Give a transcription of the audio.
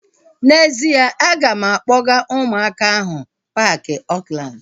N'ezie, a ga m akpọga ụmụaka ahu paaki Oakland